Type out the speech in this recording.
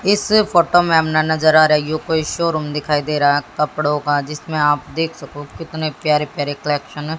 इस फोटो में हम ना नजर आ रही हो कोई शोरूम दिखाई दे रहा है कपड़ों का जिसमें आप देख सको कितने प्यारे प्यारे कलेक्शन --